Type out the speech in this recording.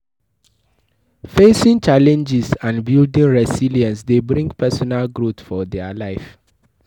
Facing challenges and building resilence de bring personal growth for their life